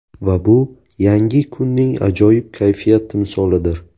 Va bu yangi kunning ajoyib kayfiyat timsolidir.